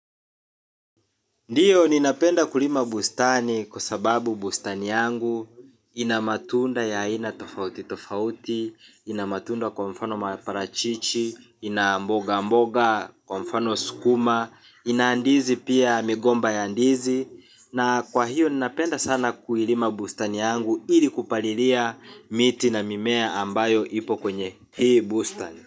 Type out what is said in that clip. Ndiyo ninapenda kulima bustani kwa sababu bustani yangu ina matunda ya aina tofauti tofauti, ina matunda kwa mfano maparachichi, ina mboga mboga, kwa mfano sukuma, ina ndizi pia migomba ya ndizi. Na kwa hiyo ninapenda sana kulima bustani yangu ili kupalilia miti na mimea ambayo ipo kwenye hii bustani.